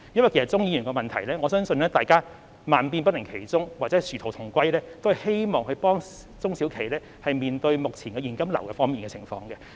對於鍾議員的質詢，我相信萬變不離其宗或殊途同歸的是，希望幫助中小企面對目前現金流方面的困難。